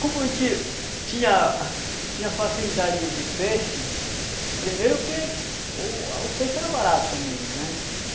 Como a gente tinha tinha facilidade de de de peixe, primeiro que o peixe era barato também, né?